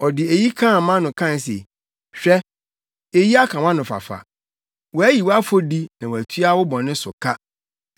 Ɔde eyi kaa mʼano kae se, “Hwɛ, eyi aka wʼanofafa, wɔayi wʼafɔdi na wɔatua wo bɔne so ka.”